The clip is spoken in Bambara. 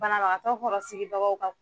Banabagatɔ kɔrɔ sigibagaw ka